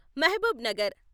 Mahabub Nagar